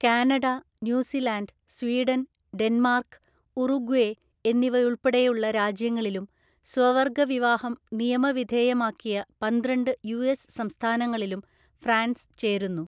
Canada, New Zealand, Sweden, Denmark, Uruguay എന്നിവയുൾപ്പെടെയുള്ള രാജ്യങ്ങളിലും സ്വവർഗ വിവാഹം നിയമവിധേയമാക്കിയ പന്ത്രണ്ട് യുഎസ് സംസ്ഥാനങ്ങളിലും ഫ്രാൻസ് ചേരുന്നു.